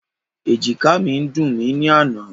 Ẹ̀jìkáà mi ń dùn mí ní àná.